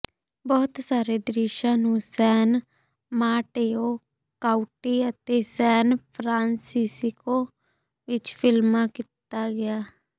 ਬਹੁਤ ਸਾਰੇ ਦ੍ਰਿਸ਼ਾਂ ਨੂੰ ਸੈਨ ਮਾਟੇਓ ਕਾਉਂਟੀ ਅਤੇ ਸੈਨ ਫਰਾਂਸਿਸਕੋ ਵਿੱਚ ਫਿਲਮਾਂ ਕੀਤਾ ਗਿਆ